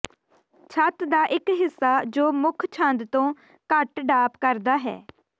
ਛੱਤ ਦਾ ਇਕ ਹਿੱਸਾ ਜੋ ਮੁੱਖ ਛੰਦ ਤੋਂ ਘੱਟ ਡਾਪ ਕਰਦਾ ਹੈ